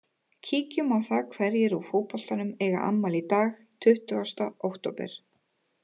Kíkjum á það hverjir úr fótboltanum eiga afmæli í dag tuttugasta október.